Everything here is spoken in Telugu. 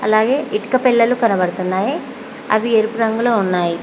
అలాగే ఇటుక పెల్లలు కనబడుతున్నాయి అవి ఎరుపు రంగులో ఉన్నాయ్.